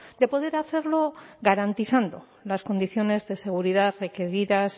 de poder hacerlo garantizando las condiciones de seguridad requeridas